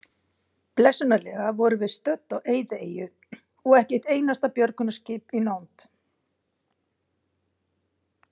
Blessunarlega vorum við stödd á eyðieyju og ekki eitt einasta björgunarskip í nánd.